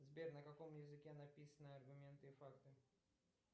сбер на каком языке написаны аргументы и факты